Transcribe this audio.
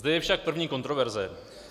Zde je však první kontroverze.